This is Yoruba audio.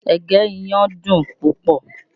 Ẹ̀gẹ́ iyán dùn púpọ̀